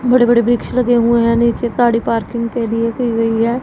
बड़े बड़े वृक्ष लगे हुए हैं नीचे गाड़ी पार्किंग के लिए की गई है।